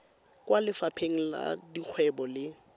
kwa lefapheng la dikgwebo le